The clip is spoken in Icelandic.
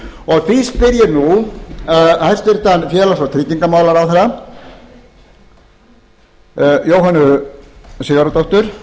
og því spyr ég nú hæstvirtur félags og tryggingamálaráðherra jóhönnu sigurðardóttur